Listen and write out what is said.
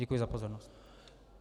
Děkuji za pozornost.